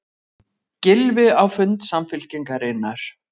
Gylfi á fund Samfylkingarinnar